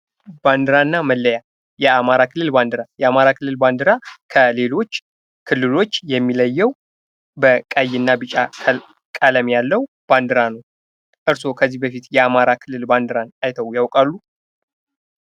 ባንዲራና መለያ ፦ የአማራ ክልል ባንዲራ ፦ የአማራ ክልል ባንዲራ ከሌሎች ክልሎች የሚለየው በቀይና ቢጫ ቀለም ያለው ባንዲራ ነው ። እርሶ ከዚህ በፊት የአማራ ክልል ባንዲራን አይተው ያውቃሉ ?